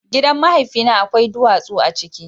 Gidan mahaifina akwai duwatsu a ciki.